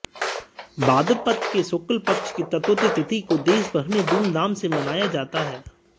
भाद्रपद के शुक्ल पक्ष की चतुर्थी तिथि को देशभर में धूमधाम से मनाया जाता है